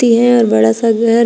इन्हा और बड़ा सा घर--